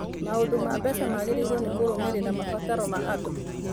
Maũndũ ma mbeca magĩrĩirũo nĩ kũrũmĩrĩra mabataro ma andũ.